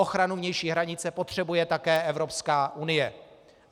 Ochranu vnější hranice potřebuje také Evropská unie.